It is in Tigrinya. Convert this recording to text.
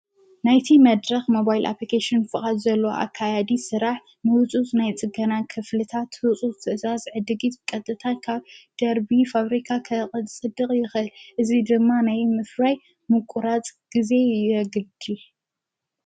።ናይቲ መድረኽ መባይል ኣጵልቄሹን ፍቓት ዘሎ ኣካያዲ ሥራሕ ምውፁስ ናይ ጽገና ክፍልታ ትውፁ ትእዛዝ ዕድጊት ቀጥታ ካብ ደርቢ ፋብሪካ ኸቐፅ ጽድቕ ይኸ እዙይ ድማ ነይ ምፍራይ ምቊራጽ ጊዜ የግድል።